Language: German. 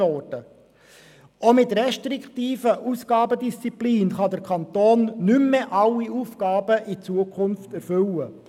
Auch mit restriktiver Ausgabendisziplin kann der Kanton in Zukunft nicht mehr alle Aufgaben erfüllen.